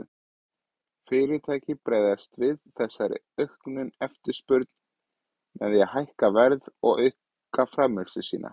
Fyrirtæki bregðast við þessari auknu eftirspurn með því að hækka verð og auka framleiðslu sína.